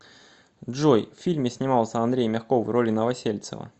джой в фильме снимался андрей мягков в роли новосельцева